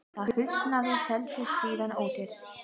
Það húsnæði seldist síðan ódýrt.